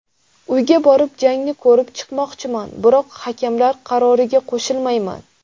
Uyga borib, jangni ko‘rib chiqmoqchiman, biroq hakamlar qaroriga qo‘shilmayman.